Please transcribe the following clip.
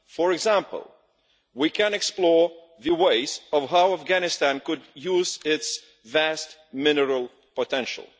For example, we can explore the ways in which Afghanistan could use its vast mineral potential.